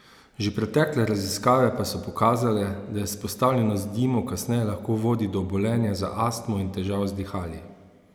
Že pretekle raziskave pa so pokazale, da izpostavljenost dimu kasneje lahko vodi do obolenja za astmo in težav z dihali.